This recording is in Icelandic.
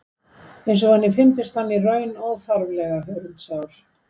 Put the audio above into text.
Eins og henni fyndist hann í raun óþarflega hörundsár.